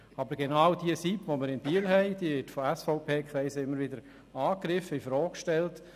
Aber diese SIP in Biel wird von SVP-Kreisen immer wieder angegriffen und in Frage gestellt.